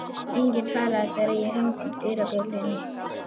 Enginn svaraði þegar ég hringdi dyrabjöllunni.